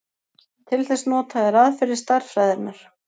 Til þess nota þeir aðferðir stærðfræðinnar.